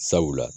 Sabula